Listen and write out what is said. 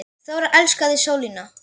Þóra elskaði sólina.